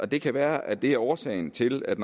det kan være at det er årsagen til at